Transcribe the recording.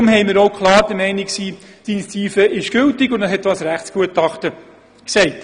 Deshalb sind wir klar der Meinung, die Initiative sei gültig, und dies wurde auch durch ein Rechtsgutachten bestätigt.